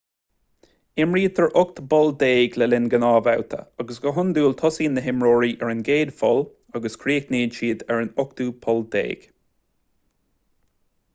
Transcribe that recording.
imrítear ocht bpoll déag le linn gnáthbhabhta agus go hiondúil tosaíonn na himreoirí ar an gcéad pholl agus críochnaíonn siad ar an ochtú poll déag